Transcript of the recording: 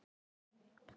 Skreppa frá?